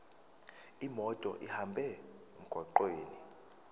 imoto ihambe emgwaqweni